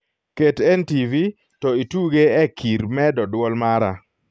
ket n.t.v. to ituge e kir medo duol mara